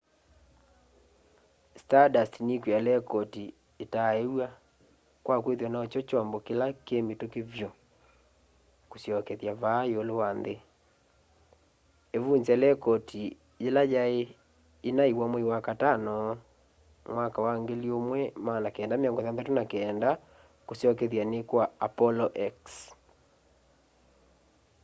stardust nikwia lekoti itaaiwa kwa kwithwa nokyo kyombo kila ki mituki vyu kusyokethya vaa iulu wa nthi iivunzya lekoti ila yai inaiwa mwei wakatano 1969 kusyokethyani kwa apollo x